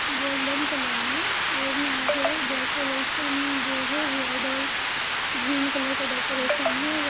Golden colour मैं | और यहाँ जो है डेकोरेशन जो हैं रेड और ग्रीन कलर का डेकोरेशन हैं।